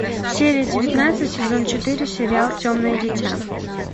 серия девятнадцать сезон четыре сериал темное дитя